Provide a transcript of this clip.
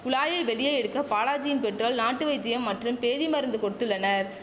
குழாயை வெளியே எடுக்க பாலாஜியின் பெற்றோல் நாட்டு வைத்தியம் மற்றும் பேதி மருந்து கொடுத்துள்ளனர்